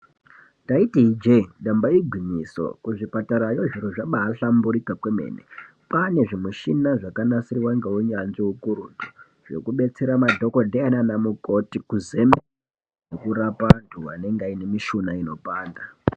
Ndaiti ijeyi, damba igwinyiso kuzvipatara zviro zvabahlamburika kwemene ,kwaane zvimishina zvakanasirwa ngehunyanzvi hukurutu zvekudetsera madhogodheya nanamukoti kurapa vantu vanenge vainemushuna inopanda.